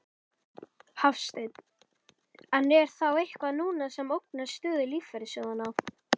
Hafsteinn: En er þá eitthvað núna sem ógnar stöðu lífeyrissjóðanna?